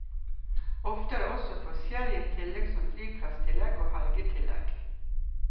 Ofte er det også forskjellige tillegg som flyplasstillegg og helgetillegg.